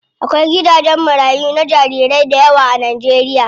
Akwai gidajen marayu na jarirai dayawa a Najeriya.